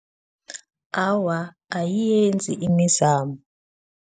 Awa, ayiyenzi imizamo.